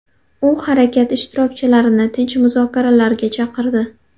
U harakat ishtirokchilarini tinch muzokaralarga chaqirdi.